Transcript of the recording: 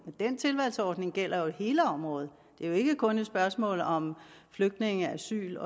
og den tilvalgsordning gælder jo hele området det er jo ikke kun et spørgsmål om flygtninge asyl